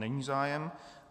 Není zájem.